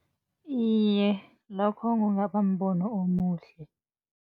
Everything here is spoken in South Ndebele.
Iye, lokho kungaba mbono omuhle.